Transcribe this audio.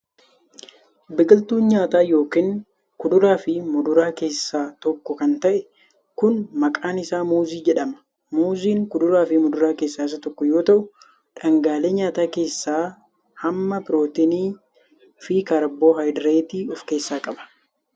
Biqiltuun nyaataa yookin kuduraa fi muduraa keessaa tokko kan ta'e kun, maqaan isaa muuzii jedhama. Muuziin kuduraa fi muduraa keessaa isa tokko yoo ta'u dhangaalee nyaataa keessaa hamma pirootinii fi kaarboohaydireetii of keessaa qaba.